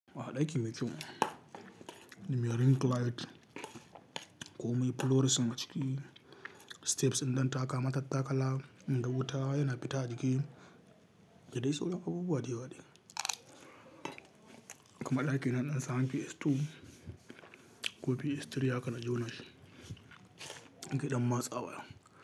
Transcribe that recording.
Aha ɗaki mai kyau, me ring light ko mai fluorescence a ciki, steps ɗan taka matattakala in da wuta yana fita a ciki, da dai sauran abubuwa da yawa ne. Kuma ɗaki na ɗan tsan, PS2 ko PS3 haka na jona shi, gidan masa baya.